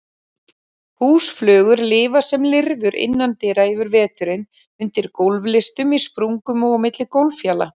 Húsflugur lifa sem lirfur innandyra yfir veturinn, undir gólflistum, í sprungum og á milli gólffjala.